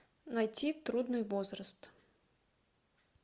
найти трудный возраст